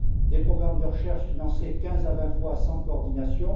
des programmes de recherche financés quinze à vingt fois sans coordination